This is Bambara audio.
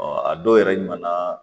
a dɔw yɛrɛ ɲɛna